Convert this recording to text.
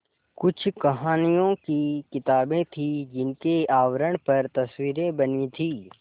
कुछ कहानियों की किताबें थीं जिनके आवरण पर तस्वीरें बनी थीं